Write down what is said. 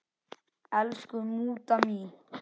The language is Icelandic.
Elsku mútta mín.